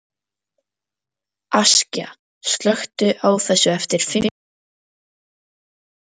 Askja, slökktu á þessu eftir fimmtíu og fimm mínútur.